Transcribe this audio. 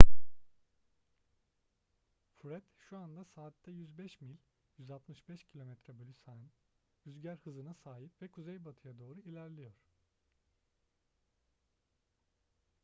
fred şu anda saatte 105 mil 165 km/s rüzgar hızına sahip ve kuzeybatıya doğru ilerliyor